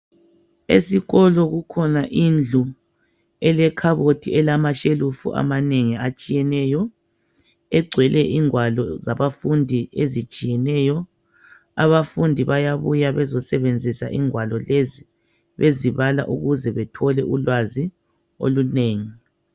Esikolo kukhona indlu ele khabothi elama shelufu amanengi atshiyeneyo egcwele ingwalo zaba fundi ezitshiyeneyo abafundi bayabuya bezo sebenzisa ingwalo lezi bezibala ukuze bethole ulwazi olunengi.